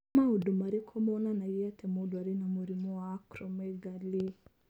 Nĩ maũndũ marĩkũ monanagia atĩ mũndũ arĩ na mũrimũ wa Acromegaly?